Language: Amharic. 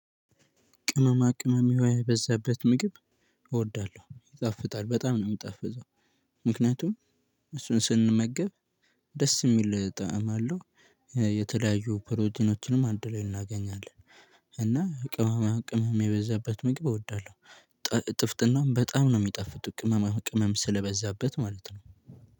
ቅመማ ቅመም የበዛበት ምግብ እወዳለሁ ይጣፍጣል በጣም ነው የምጣፍጠው። ምክንያቱም እሱን ስንመገብ ደስ የሚል ጠዕም አለው። የተለያዩ ፕሮቲኖችንም አንድ ላይ እናገኛለን። እና ቅመማ ቅመም የበዛበት ምግብ እወዳለሁ። ጥፍጥናም በጣም ነው የሚጣፍጡት ቅመማ ቅመም ስለበዛበት ማለት ነው።